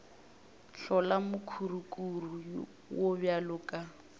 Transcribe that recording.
hlola mokurukuru wo bjalo ka